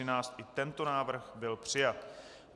I tento návrh byl přijat.